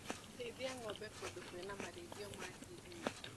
Rĩithia ngombe kũndũ kwĩna marĩithio ma ngirini.